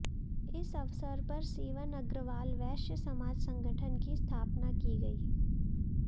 इस अवसर पर सीवन अग्रवाल वैश्य समाज संगठन की स्थापना की गई